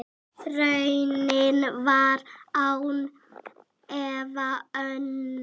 Raunin var án efa önnur.